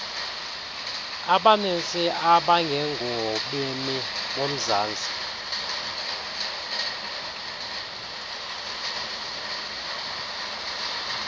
abaninzi abangengobemi bomzantsi